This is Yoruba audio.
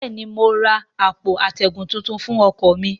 bẹ́ẹ̀ ni, mo ra àpò atẹ́gùn tuntun fún ọkọ̀ mi